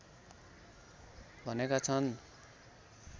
भनेका छन्